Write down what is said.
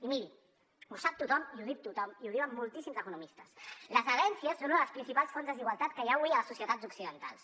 i miri ho sap tothom i ho diu tothom i ho diuen moltíssims economistes les herències són una de les principals fonts de desigualtat que hi ha avui a les societats occidentals